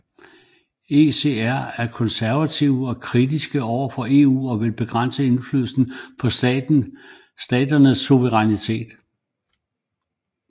ECR er konservative og kritiske overfor EU og vil begrænse indflydelsen på staternes suverænitet